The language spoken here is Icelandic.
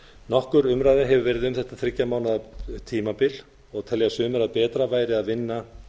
nokkur umræða hefur orðið um þetta þriggja mánaða tímabil og telja sumir að betra væri að vinna